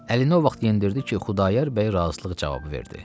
Əlini o vaxt yendirdi ki, Xudayar bəy razılıq cavabı verdi.